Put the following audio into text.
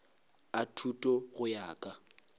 a thuto go ya ka